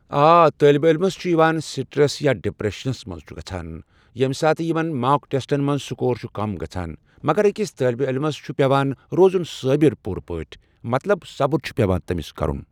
آ طٲلبہ عٔلمس چھُ یِوان سٹرٮ۪س یا ڈپریٚشنس منٛز چھ گژھان ییٚمہِ ساتہٕ یمن ماک ٹیسٹن منٛز سِکور چھُ کِم گژھان مگر أکِس طٲلبہ عٔلَمس چھُ پیٚوان روزُن صٲبر پوٗرٕ پٲٹھۍ، مطلب صبر چھُ پٮ۪وان تٔمِس کرُن۔